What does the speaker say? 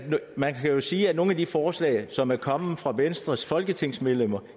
man kan jo sige at nogle af de forslag som er kommet fra venstres folketingsmedlemmer